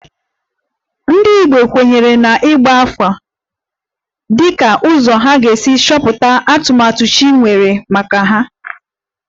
Ndị Igbo kweere na ịgba afa dịka ụzọ ha ga-esi chọpụta atụmatụ chi nwere maka ha